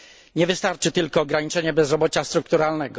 Nie wystarczy tylko ograniczyć bezrobocie strukturalne.